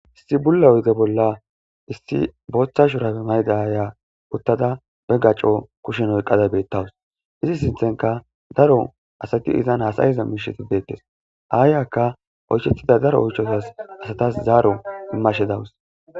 Issi bulla oydde bolla issi botha shurabe mayida ayiya uttada be gacco kushen oyqqada betawus.izi sinthankka daro hasa'iza asati de'etds ayiyakka oychchetiza daro oyshatas zaro immashe dawus.